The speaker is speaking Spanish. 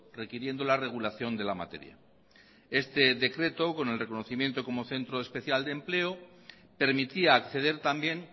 requiriendo la regulación de la materia este decreto con el reconocimiento como centro especial de empleo permitía acceder también